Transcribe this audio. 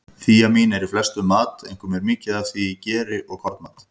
Þíamín er í flestum mat, einkum er mikið af því í geri og kornmat.